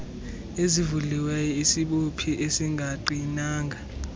ezivuliweyo isibophi esingaqinanga